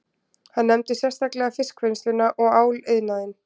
Hann nefndi sérstaklega fiskvinnsluna og áliðnaðinn